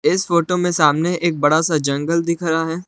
इस फोटो में सामने एक बड़ा सा जंगल दिख रहा है।